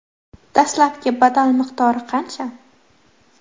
Dastlabki badal miqdori qancha?